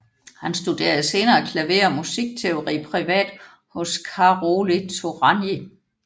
Han studerede senere klaver og musikteori privat hos Károly Turányi